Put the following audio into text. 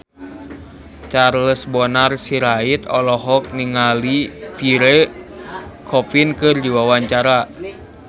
Charles Bonar Sirait olohok ningali Pierre Coffin keur diwawancara